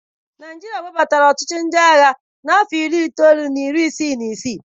Naịjirịa webatara ọchịchị ndị agha n'afọ Iri na itoolu na iri isii na isii.